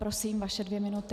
Prosím, vaše dvě minuty.